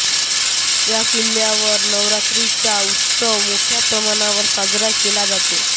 या किल्ल्यावर नवरात्रीचा उत्सव मोठ्या प्रमाणावर साजरा केला जातो